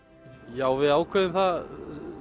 já við ákváðum það